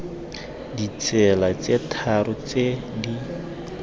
ditsela tse tharo tse di